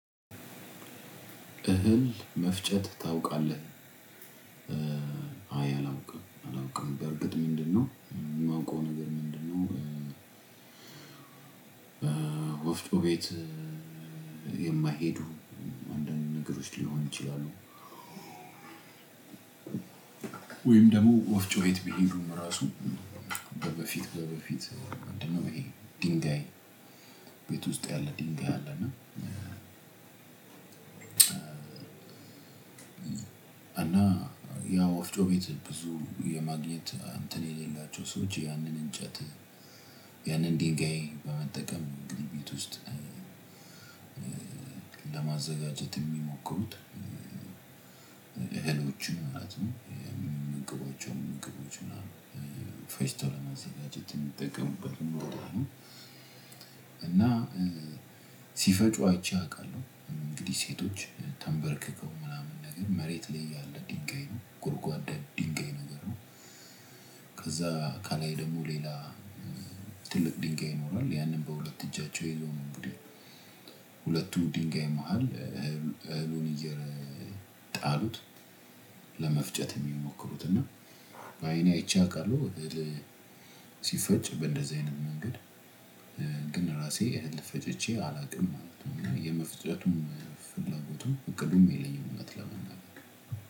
እህል መፍጨት ታውቃለህ? አይ አላውቅም አላውቅም። በእርግጥ ምንድነው የማውቀው ነገር ምንድነው ወፍጮ ቤት የማይሄዱ አንዳንድ ነገሮች ሊሆኑ ይችላሉ ወይም ደግሞ ወፍጮት ቢሄዱም ራሱ በፊት በፊት ድንጋይ ቤት ውስጥ ያለ ድንጋይ አለና እና ያ ወፍጮ ቤት ብዙ የማግኘት እንትን የሌላቸው ሰዎች ያንን እንጨት ያንን ድንጋይ በመጠቀም ግን ቤት ውስጥ ለማዘጋጀት የሚሞክሩት እህሎችን ማለት ነው የሚመገቧቸዉን ምግቦች ምናምን ፈጭተው በማዘጋጀት የሚጠቀሙ እና ሲፈጩ አይቼ አውቃለሁ። እንግዲህ ሴቶች ተንበርክከው ምናምን ነገር መሬት ላይ ያለ ድንጋይ ነው። ጎርጓዳ ድንጋይ ነገር ነው። ከዛ ከላይ ደግሞ ሌላ ትልቅ ድንጋይ ይኖራል ያንን በሁለት እጃቸው ይዘው ነው እንግዲህ ሁለቱ ድንጋይ መሃል እህሉን እየጣሉት ለመፍጨት የሚሞክሩት እና በአይኔ አይቼ አውቃለሁ ሲፈጭ በእንደዚህ አይነት መንገድ። ግን ራሴ እህል ፈጭቼ አላውቅም ማለት ነው። የመፍጨቱም ፍላጎቱም እቅዱም የለኝም እውነት ለመናገር።